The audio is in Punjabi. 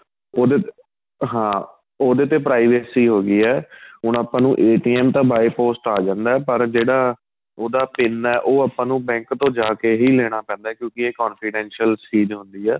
ਉਹਦੇ ਤੇ ਹਾਂ ਉਹਦੇ ਤੇ privacy ਹੋ ਗਈ ਏ ਹੁਣ ਆਪਾਂ ਨੂੰ ਤਾਂ by post ਆਂ ਜਾਂਦਾ ਪਰ ਜਿਹੜਾ ਉਹਦਾ pin ਏ ਉਹ ਆਪਾਂ ਨੂੰ bank ਤੋ ਜਾਕੇ ਹੀ ਲੈਣਾ ਪੈਂਦਾ ਕਿਉਂਕਿ ਏ confidential ਚੀਜ਼ ਹੁੰਦੀ ਏ